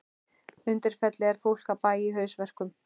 Undirfelli en fólk af bæ í haustverkum.